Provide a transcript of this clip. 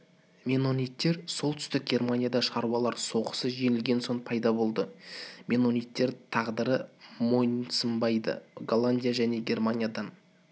меннониттер солтүстік германияда шаруалар соғысы жеңілген соң пайда болды меннониттер тағдырға мойынсынбайды голландияда және германиядан